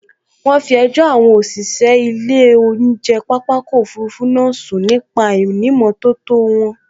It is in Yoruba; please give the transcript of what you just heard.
Wọ́n fi ẹjọ́ àwọn òṣìṣẹ́ ilé oúnjẹ pápákọ̀ òfurufú náà sun nípa àìnìmótótó wọn